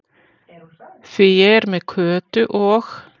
Því ég er með Kötu og